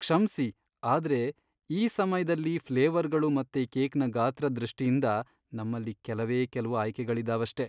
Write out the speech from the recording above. ಕ್ಷಮ್ಸಿ, ಆದ್ರೆ ಈ ಸಮಯ್ದಲ್ಲಿ ಫ್ಲೇವರ್ಗಳು ಮತ್ತೆ ಕೇಕ್ನ ಗಾತ್ರದ್ ದೃಷ್ಟಿಯಿಂದ ನಮ್ಮಲ್ಲಿ ಕೆಲ್ವೇ ಕೆಲ್ವು ಆಯ್ಕೆಗಳಿದಾವಷ್ಟೇ.